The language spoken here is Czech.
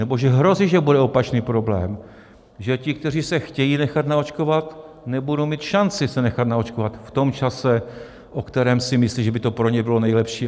Nebo že hrozí, že bude opačný problém: že ti, kteří se chtějí nechat naočkovat, nebudou mít šanci se nechat naočkovat v tom čase, o kterém si myslí, že by to pro ně bylo nejlepší.